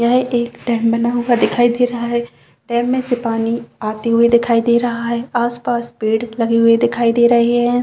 यह एक डैम बना हुआ दिखाई दे रहा है डैम मे से पानी आते हुए दिखाई दे रहा है आसपास पेड़ लगे हुए दिखाई दे रहे है।